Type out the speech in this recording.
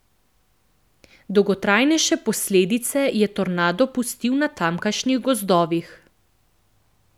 Dolgotrajnejše posledice je tornado pustil na tamkajšnjih gozdovih.